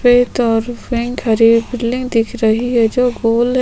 सफ़ेद और पिंक हरे बिल्डिंग दिख रही है जो गोल है।